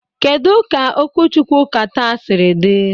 Kedu ka okwuchukwu Ụka taa siri dị?